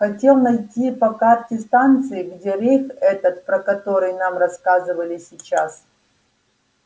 хотел найти по карте станции где рейх этот про который нам рассказывали сейчас